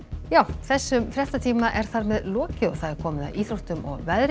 þessum fréttatíma er þar með lokið og komið að íþróttum og veðri